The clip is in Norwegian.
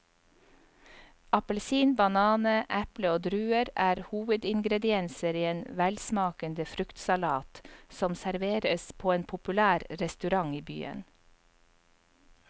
Appelsin, banan, eple og druer er hovedingredienser i en velsmakende fruktsalat som serveres på en populær restaurant i byen.